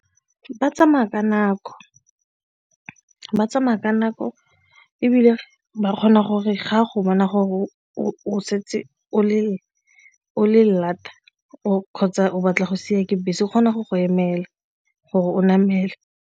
Ba tsamaya ka nako, ba tsamaya ka nako ebile ba kgona gore ga go bona gore o setse o le lata o kgotsa o batla go siiwa ke bese o kgona go go emela gore o namele.